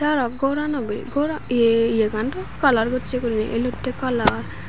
aro gorano bee goran ye ye yegan doob kalar gocche guri elotte kalar.